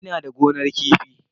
Ina da gonar kifi.